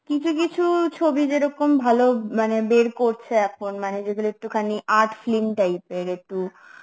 কিছু কিছু ছবি যেরকম ভালো মানে বের করছে এখন মানে যেগুলো একটুখানি art film type এর একটু